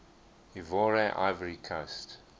ivoire ivory coast